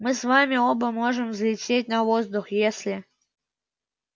мы с вами оба можем взлететь на воздух если